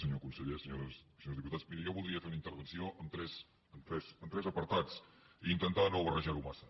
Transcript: senyor conseller senyores i senyors diputats mirin jo voldria fer una intervenció amb tres apartats i intentar no barrejar ho massa